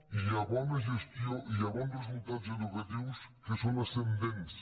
i hi ha bona gestió i hi ha bons resultats educatius que són ascendents